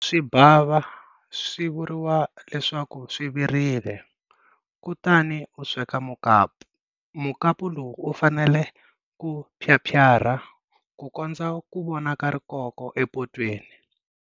Loko swi bava swi vuriwa leswaku swi virile, kutani u sweka mukapu. Mukapu lowu wu fanele ku phyaphyarha ku kondza ku vonaka rikoko epotweni.